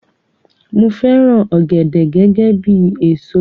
Mo fẹràn ògèdè gẹgẹ bíi èso